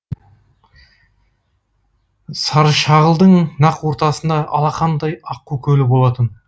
саршағылдың нақ ортасында алақандай аққу көлі болатын